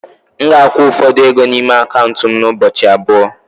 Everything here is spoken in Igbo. M ga-akwụ ụfọdụ ego n'ime akaụntụ m n'ụbọchị abụọ.